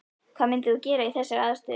Hvað myndir þú gera í þessari aðstöðu?